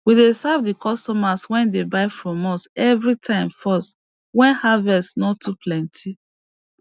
we dey serve di customers wey dey buy from us evri time first wen harvest no too plenty